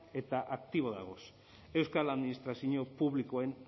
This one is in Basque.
eta aktibo dauden euskal administrazio publikoen